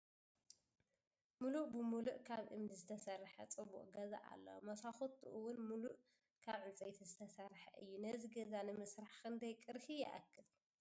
ሙሉእ ብ ሙሉእ ካብ እምኒ ዝተሰረሕ ፅቡቅ ገዛ ኣሎ ። ሞስኮቱ እውን ሙሉእ ካብ ዕንፀይቲ ዝተሰረሕ እዩ ። ነዚ ገዛ ንምስራሕ ክንደይ ቅርሺ ይእክል ?